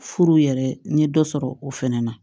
Furu yɛrɛ n ye dɔ sɔrɔ o fɛnɛ na